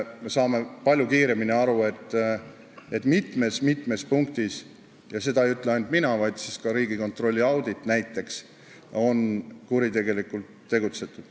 Me saame palju kiiremini aru, et mitmes-mitmes punktis – ja seda ei ütle ainult mina, vaid seda väidetakse ka Riigikontrolli auditis näiteks – on kuritegelikult tegutsetud.